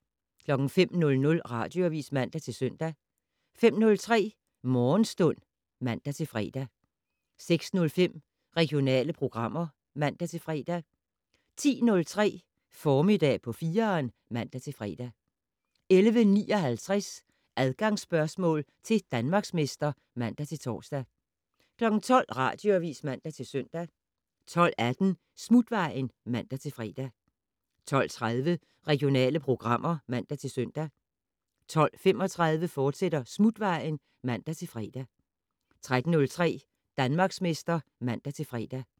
05:00: Radioavis (man-søn) 05:03: Morgenstund (man-fre) 06:05: Regionale programmer (man-fre) 10:03: Formiddag på 4'eren (man-fre) 11:59: Adgangsspørgsmål til Danmarksmester (man-tor) 12:00: Radioavis (man-søn) 12:18: Smutvejen (man-fre) 12:30: Regionale programmer (man-søn) 12:35: Smutvejen, fortsat (man-fre) 13:03: Danmarksmester (man-fre)